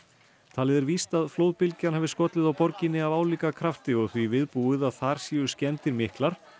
talið er víst að flóðbylgjan hafi skollið á borginni af álíka krafti og því viðbúið að þar séu skemmdir miklar